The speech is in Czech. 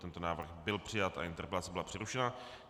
Tento návrh byl přijat a interpelace byla přerušena.